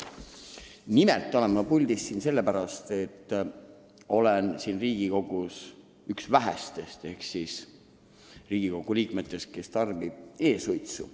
Nimelt olen ma praegu puldis sellepärast, et olen Riigikogus üks vähestest, kes tarbib e-suitsu.